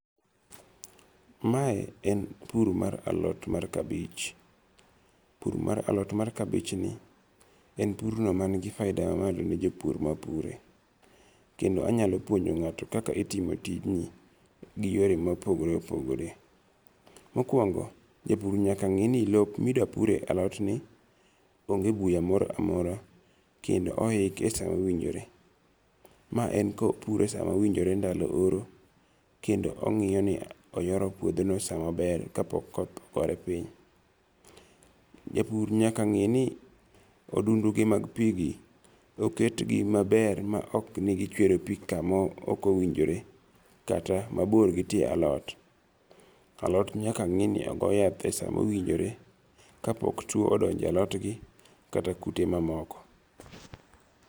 Mae en puro mar alot mar kabich. Pur mar alot mar kabich ni en pur no man gi faida ma malo ne jaur mapure. Kendo anyalo puonjo ng'ato kaka itimo tijni gi yore mopogore opogore. Mokwongo japur nyaka ng'e ni lop midwa pure alot ni onge buya moro amora kendo ohike sama owinjore. Ma en kopure sama owinjore ndalo horo kendo ong'iyo ni oyoro puodho no sama ber ka pok koth ogore piny. Japur nyaka ng'e ni odundu mag pi gi oket gi maber ma ok ni gichewro pi kama ok owinjore kata mabor gi tie alot. Alot nyaka ng'i ni ogo yath e sa ma owinjore ka pok tuo odonjo e alot gi kata kute mamoko.